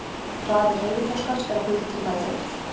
Hraði hreyfiþroskans er að hluta til meðfæddur.